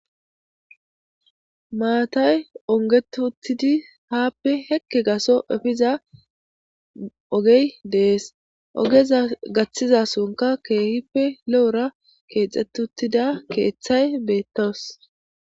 Maatay ungeti uttidi haape seeki gatho efiza ovey dees.ogeza vaththizasonka keehilpe lo'ora keexetidi diza keerhay beetetees.